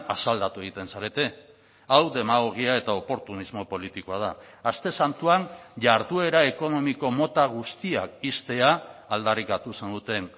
asaldatu egiten zarete hau demagogia eta oportunismo politikoa da aste santuan jarduera ekonomiko mota guztiak ixtea aldarrikatu zenuten